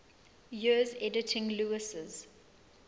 years editing lewes's